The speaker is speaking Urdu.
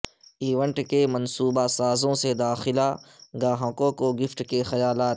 ایونٹ کے منصوبہ سازوں سے داخلہ گاہکوں کو گفٹ کے خیالات